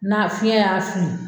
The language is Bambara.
Na fiɲɛ y'a fili